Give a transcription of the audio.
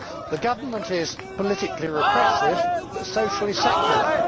The Government is politically repressive but socially secular.